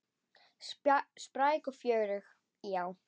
Spræk og fjörug, já.